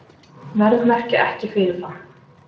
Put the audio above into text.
Verðmerkja ekki fyrirfram